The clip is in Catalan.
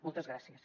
moltes gràcies